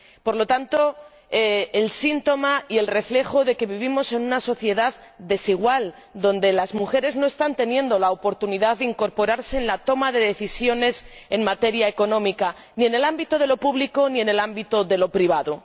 por lo tanto, el síntoma y el reflejo de que vivimos en una sociedad desigual en la que las mujeres no están teniendo la oportunidad de incorporarse en la toma de decisiones en materia económica, ni en el ámbito de lo público, ni en el ámbito de lo privado.